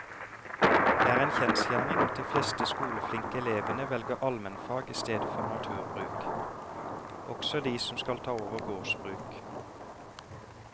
Det er en kjensgjerning at de fleste skoleflinke elevene velger allmennfag i stedet for naturbruk, også de som skal ta over gårdsbruk.